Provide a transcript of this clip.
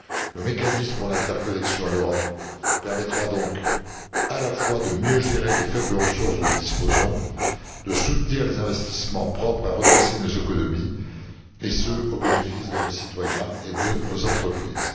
Le mécanisme pour l'interconnexion en Europe permettra donc à la fois de mieux gérer les faibles ressources dont nous disposons et de soutenir les investissements propres à redresser nos économies, et ce, au bénéfice de nos citoyens et de nos entreprises.